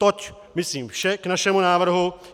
Toť myslím vše k našemu návrhu.